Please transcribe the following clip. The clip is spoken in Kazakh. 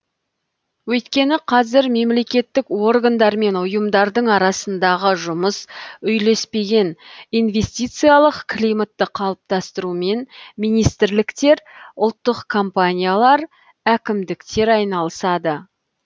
өйткені қазір мемлекеттік органдар мен ұйымдардың арасындағы жұмыс үйлеспеген инвестициялық климатты қалыптастырумен министрліктер ұлттық компаниялар әкімдіктер айналысады